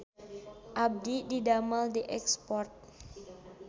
Abdi didamel di Export